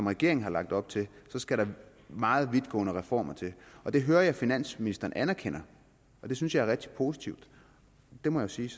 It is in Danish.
regeringen har lagt op til så skal der meget vidtgående reformer til og det hører jeg at finansministeren anerkender det synes jeg er rigtig positivt det må jeg sige